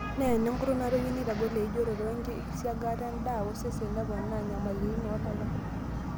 Neya ena enkutuk natoyio, naitagol eijoroto wenkisiagata enda oosesn neponaa nyamaliritn oolala.